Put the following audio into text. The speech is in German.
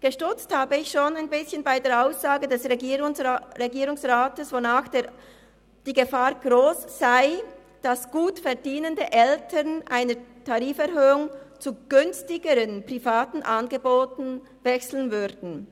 Stutzig geworden bin ich schon ein bisschen bei der Aussage des Regierungsrats, wonach die Gefahr gross sei, dass gutverdienende Eltern nach einer Tariferhöhung zu günstigeren privaten Angeboten wechseln würden.